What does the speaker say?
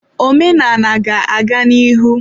Omenala ga-aga n'ihu.